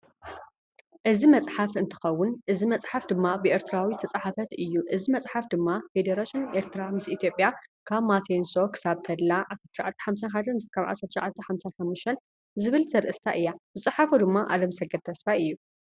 እዚ መፅሓፍ እንትከውን አዚ መፅሓፍ ድማ ብኤርትራዊ ዝተፃሓፈት እዩ። እዚ መፅሓፍ ድማ ፈደረሽን ኤርትራ ምስ ኢትዮጵያ ካብ ማቲየንሶ ክሳብ ተድላ 1951 -1955 ዝብል ዘርእስታ እያ። ዝፀሓፎ ድማ ኣለምሰገድ ተስፋይ እዩ።